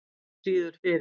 Ekki síður fyrir